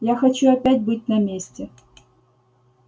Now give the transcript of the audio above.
я хочу опять быть на месте